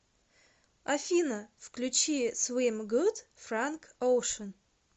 афина включи свим гуд франк оушен